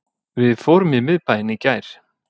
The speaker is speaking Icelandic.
Við fórum í miðbæinn í gær